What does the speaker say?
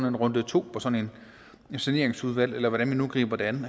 en runde to med et saneringsudvalg eller hvordan man nu griber det an